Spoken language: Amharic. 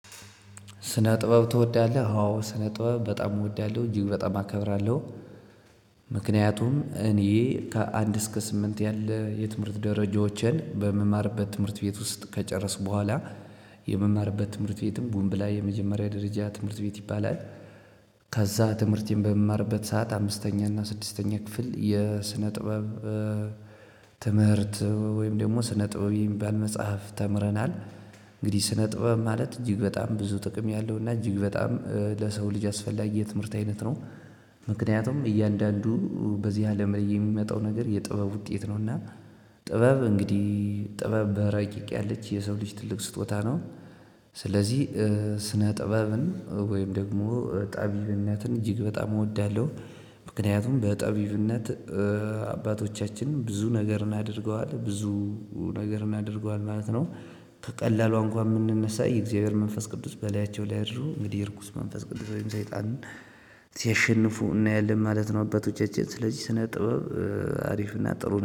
ስነ ጥበብ ትወዳለህ? ስነ ጥበብ በጣም እወዳለሁ እጅግ በጣም አከብራለው። ምክንያቱም እኔ ከአንድ እስከ ስምንት ያለ የትምህርት ደረጃዎችን የምማርበት ትምህርት ቤት ውስጥ ከጨረስኩ በኋላ የምማርበት ትምህርት ቤትም ቡምብላ የመጀመሪያ የደረጃ ትምህርት ቤት ይባላል። ከዛ ትምህርቴን በምማርበት ሰዓት አምስተኛ እና ስድስተኛ ክፍል የስነ ጥበብ ትምህርት ወይም ደግሞ ስነ ጥበብ የሚባል መጽሐፍ ተምረናል። እንግዲህ ስነ ጥበብ ማለት እጅግ በጣም ብዙ ጥቅም ያለው እና እጅግ በጣም ለሰው ልጅ ያስፈላጊ የትምህርት አይነት ነው። ምክንያቱም እያንዳንዱ በዚህ አለም የሚመጣው ነገር የጥበብ ውጤት ነውና። ጥበብ እንግዲህ ጥበብ በረቂቅ ያለች የሰው ልጅ ትልቅ ስጦታ ነው። ስለዚህ ስነ ጥበብን ወይም ደግሞ ጠቢብነትን እጅግ በጣም እወዳለሁ። ምክንያቱም በጠቢብነት አባቶቻችንን ብዙ ነገር እናድርገዋለን ብዙ ነገር እናድርገዋለን ማለት ነው። ከቀላሉ እንኳን የምንነሳ የእግዚአብሔር መንፈስ ቅዱስ በሌያቸው ላይ አድርጎ እንግዲህ እርኩስ መንፈስ ወይም ሰይጣንን ሲያሸንፉ እናያለን ማለት ነው። አባቶቻችን ስለዚህ ስነ ጥበብ አሪፍና ጥሩ